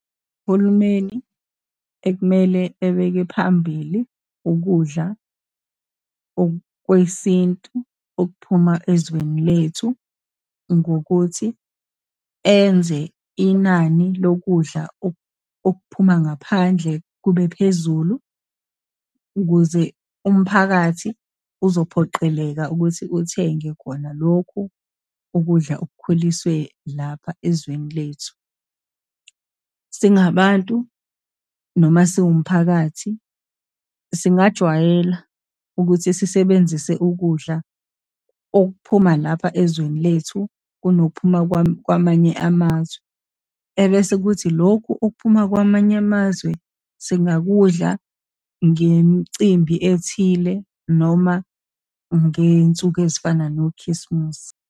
Uhulumeni ekumele ebeke phambili ukudla okwesintu okuphuma ezweni lethu, ngokuthi enze inani lokudla okuphuma ngaphandle kube phezulu, ukuze umphakathi uzophoqeleka ukuthi uthenge khona lokhu ukudla okukhulisiwe lapha ezweni lethu. Singabantu, noma siwumphakathi, singajwayela ukuthi sisebenzise ukudla okuphuma lapha ezweni lethu, kunophuma kwamanye amazwe, ebese kuthi lokhu okuphuma kwamanye amazwe, singakudla ngemicimbi ethile, noma ngey'nsuku ezifana noKhisimusi.